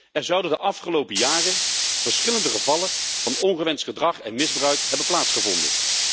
Er zouden de afgelopen jaren verschillende gevallen van ongewenst gedrag en misbruik hebben plaatsgevonden.